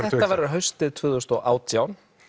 haustið tvö þúsund og átján